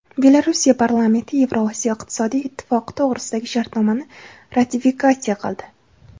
Belorussiya parlamenti Yevroosiyo iqtisodiy ittifoqi to‘g‘risidagi shartnomani ratifikatsiya qildi.